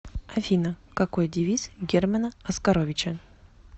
афина какой девиз германа оскаровича